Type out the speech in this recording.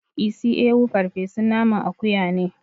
Isi ewu farfesun naman akuya ne